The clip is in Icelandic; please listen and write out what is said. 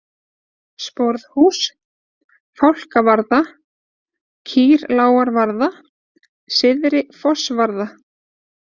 Sporðhús, Fálkavarða, Kýrlágarvarða, Syðri-Fossvarða